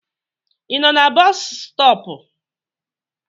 I nọ na boosu stop?